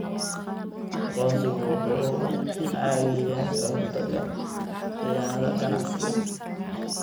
Aqoonsigu wuxuu caawiyaa ka hortagga khiyaanada ganacsiga.